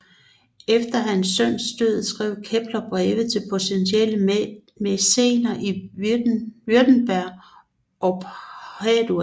Efter hans søns død skrev Kepler breve til potentielle mæcener i Württemberg og Padua